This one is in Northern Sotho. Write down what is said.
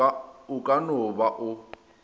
o ka no ba o